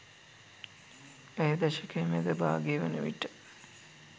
ඇය දශකයේ මැද භාගය වන විට